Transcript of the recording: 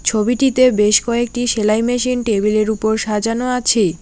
ছবিটিতে বেশ কয়েকটি সেলাই মেশিন টেবিলের উপর সাজানো আছে।